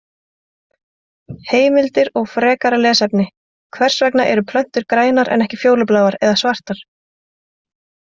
Heimildir og frekara lesefni: Hvers vegna eru plöntur grænar en ekki fjólubláar eða svartar?